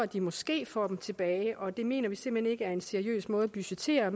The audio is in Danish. de måske får dem tilbage og det mener vi simpelt hen ikke er en seriøs måde at budgettere